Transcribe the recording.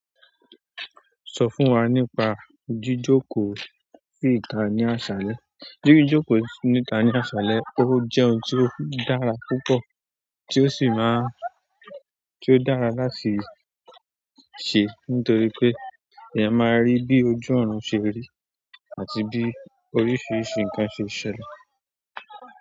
Sọ fún wa nípa jíjókòó sí ìta ní aṣálẹ́. Jíjókòó sí ìta ní aṣálẹ́ ó jẹ́ ohun tó dára púpọ̀ tí ó sì máa ń tí ó dára láti ṣe nítorí pé èèyàn máa rí bí ojú ọ̀run ṣe rí àti bí oríṣìíríṣìí nǹkan ṣe ṣẹlẹ̀.